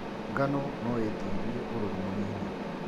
Ngano noĩtĩrie ũrũrũ mũnini.